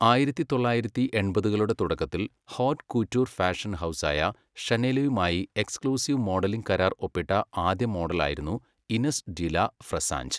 ആയിരത്തി തൊള്ളായിരത്തി എണ്പതുകളുടെ തുടക്കത്തിൽ, ഹോറ്റ് കൂറ്റുർ ഫാഷൻ ഹൗസായ ഷനെലുമായി എക്സ്ക്ലൂസീവ് മോഡലിംഗ് കരാർ ഒപ്പിട്ട ആദ്യ മോഡലായിരുന്നു ഇനെസ് ഡി ലാ ഫ്രെസാഞ്ച്.